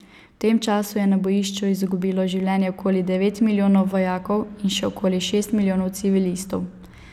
V tem času je na bojišču izgubilo življenje okoli devet milijonov vojakov in še okoli šest milijonov civilistov.